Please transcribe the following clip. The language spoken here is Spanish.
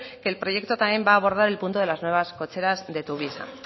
que el proyecto también va a abordar el punto de las nuevas cocheras de tuvisa